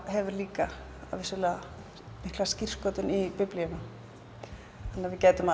hefur líka mikla skírskotun í Biblíuna þannig að við gætum